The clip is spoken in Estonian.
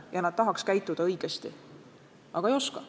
Ja inimesed tahaks käituda õigesti, aga ei oska.